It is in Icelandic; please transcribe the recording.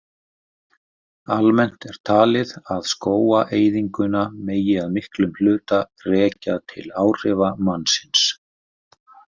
Almennt er talið að skógaeyðinguna megi að miklum hluta rekja til áhrifa mannsins.